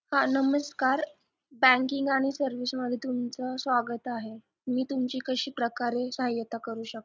नमस्कार Banking आणि service मध्ये तुमचं स्वागत आहे मी तुमची कशी प्रकारे सहायता करू शकते